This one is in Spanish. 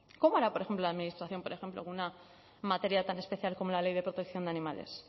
cómo hará por ejemplo la administración en una materia tan especial como la ley de protección de animales